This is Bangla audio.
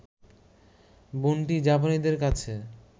বনটি জাপানিদের কাছে